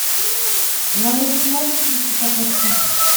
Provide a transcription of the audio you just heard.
а на лыжах можно здесь покататься